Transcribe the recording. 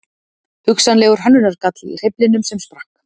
Hugsanlegur hönnunargalli í hreyflinum sem sprakk